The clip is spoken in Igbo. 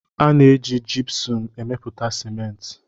A na-eji Jipsum emepụta Simenti.